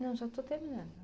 Não, já estou terminando.